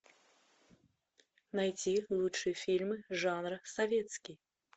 найти лучшие фильмы жанра советский